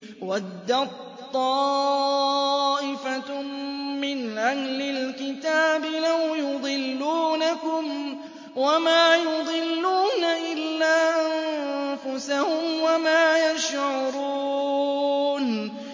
وَدَّت طَّائِفَةٌ مِّنْ أَهْلِ الْكِتَابِ لَوْ يُضِلُّونَكُمْ وَمَا يُضِلُّونَ إِلَّا أَنفُسَهُمْ وَمَا يَشْعُرُونَ